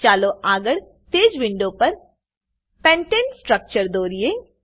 ચાલો આગળ તે જ વિન્ડો પર પેન્ટને સ્ટ્રક્ચર દોરીએ